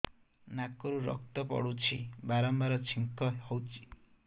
ନାକରୁ ରକ୍ତ ପଡୁଛି ବାରମ୍ବାର ଛିଙ୍କ ହଉଚି